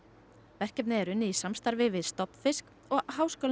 verkefnið er unnið í samstarfi við stofnfisk og háskólann í